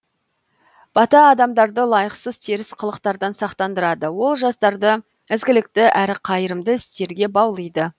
бата адамдарды лайықсыз теріс қылықтардан сақтандырады ол жастарды ізгілікті әрі қайырымды істерге баулиды